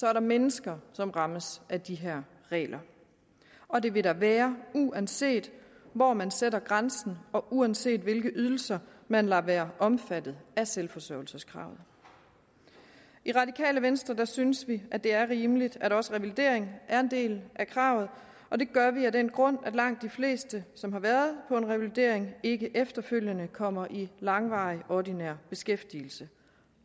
er der mennesker som rammes af de her regler og det vil der være uanset hvor man sætter grænsen og uanset hvilke ydelser man lader være omfattet af selvforsørgelseskravet i radikale venstre synes vi at det er rimeligt at også revalidering er en del af kravet og det gør vi af den grund at langt de fleste som har været på en revalidering ikke efterfølgende kommer i langvarig ordinær beskæftigelse